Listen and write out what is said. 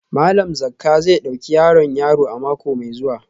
Malam Zakka zai dauki yaron yaro a mako mai zuwa